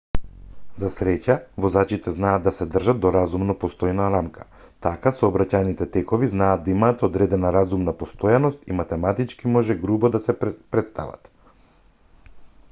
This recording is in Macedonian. за среќа возачите знаат да се држат до разумно постојана рамка така сообраќајните текови знаат да имаат одредена разумна постојаност и математички може грубо да се претстават